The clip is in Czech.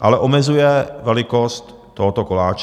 ale omezuje velikost tohoto koláče.